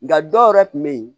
Nka dɔw yɛrɛ tun bɛ yen